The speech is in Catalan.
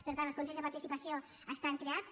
per tant els consells de participació estan creats